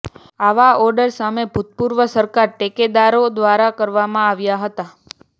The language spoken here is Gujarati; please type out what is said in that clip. આવા ઓર્ડર સામે ભૂતપૂર્વ સરકાર ટેકેદારો દ્વારા કરવામાં આવ્યા હતા